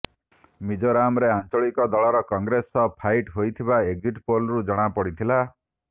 ମିଜୋରାମରେ ଆଞ୍ଚଳିକ ଦଳର କଂଗ୍ରେସ ସହ ଫାଇଟ୍ ହୋଇଥିବା ଏକଜିଟ୍ ପୋଲ୍ରୁ ଜଣା ପଡ଼ିଥିଲା